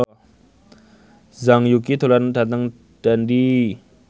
Zhang Yuqi lunga dhateng Dundee